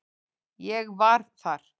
Ég var þar